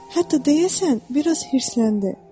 Hətta deyəsən biraz hirsləndi.